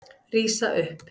Rísa upp.